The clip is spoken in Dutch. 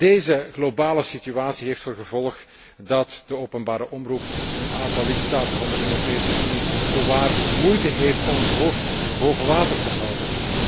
Deze globale situatie heeft tot gevolg dat de openbare omroep in een aantal lidstaten van de Europese Unie zowaar moeite heeft om het hoofd boven water te houden.